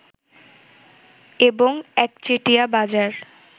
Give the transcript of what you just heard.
এবং একচেটিয়া বাজার